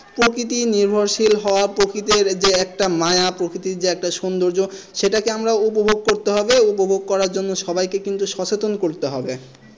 প্রকৃতি নির্ভরশীল হবার প্রকৃতির যে একটা মায়া প্রকৃতির যে একটা সুন্দর্জ সেটাকে আমরা উপভোগ করতে হবে উপভোগ করার জন্য সবাইকে কিন্তু সচেতন করতে হবে।